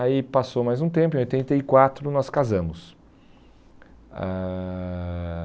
Aí passou mais um tempo, em oitenta e quatro nós casamos. Ãh